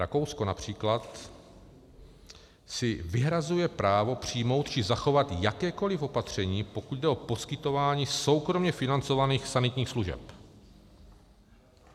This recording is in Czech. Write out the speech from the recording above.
Rakousko například si vyhrazuje právo přijmout či zachovat jakékoliv opatření, pokud jde o poskytování soukromě financovaných sanitních služeb.